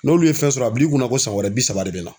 N'olu ye fɛn sɔrɔ a bil'i kunna ko san wɛrɛ bi saba de bɛ na.